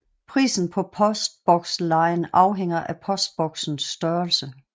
Prisen på postbokslejen afhænger af postboksens størrelse